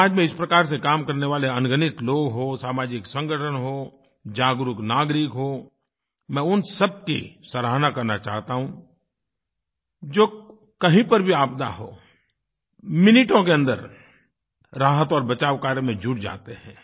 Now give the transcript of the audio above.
समाज में इस प्रकार से काम करने वाले अनगिनत लोग हों सामाजिक संगठन हों जागरूक नागरिक हों मैं उन सब की सराहना करना चाहता हूँ जो कहीं पर भी आपदा हो मिनटों के अन्दर राहत और बचाव कार्य में जुट जाते हैं